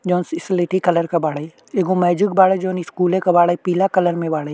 जोन स्लेटी कलर का बाड़े एगो मैंजिक बाड़े जोन स्कूले के बाड़े पीला कलर में बाड़े।